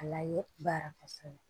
A layibara kɔsɛbɛ